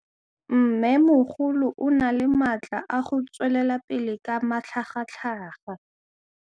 Mmêmogolo o na le matla a go tswelela pele ka matlhagatlhaga.